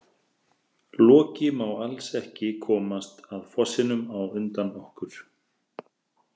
Loki má alls ekki komast að fossinum á undan okkur